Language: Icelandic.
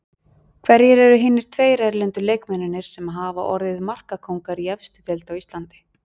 Hverjir eru hinir tveir erlendu leikmennirnir sem hafa orðið markakóngar í efstu deild á Íslandi?